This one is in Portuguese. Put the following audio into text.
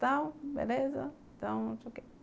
Tal, beleza